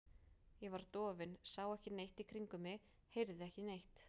Ég var dofin, sá ekki neitt í kringum mig, heyrði ekki neitt.